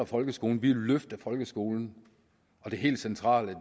folkeskolen vi vil løfte folkeskolen og det helt centrale